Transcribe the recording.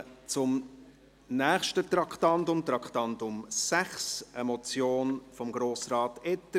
Wir kommen zum nächsten Traktandum, dem Traktandum 6 und einer Motion von Grossrat Etter: